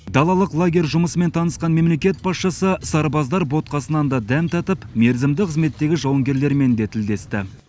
далалық лагерь жұмысымен танысқан мемлекет басшысы сарбаздар ботқасынан да дәм татып мерзімді қызметтегі жауынгерлермен де тілдесті